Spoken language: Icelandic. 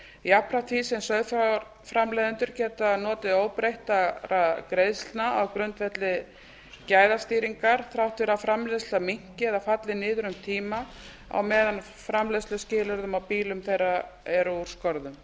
jafnframt því sem sauðfjárframleiðendur geta notið óbreyttra greiðslna á grundvelli gæðastýringar þrátt fyrir að framleiðsla minnki eða falli niður um tíma á meðan framleiðsluskilyrði á býlum þeirra eru úr skorðum